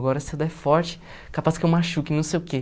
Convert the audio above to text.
Agora, se eu der forte, capaz que eu machuque, não sei o quê.